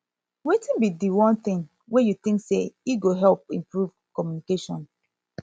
wetin be di one thing you think say e go help improve communication